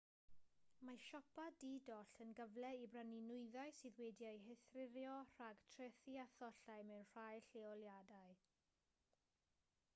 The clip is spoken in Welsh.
mae siopa di-doll yn gyfle i brynu nwyddau sydd wedi'u heithrio rhag trethi a thollau mewn rhai lleoliadau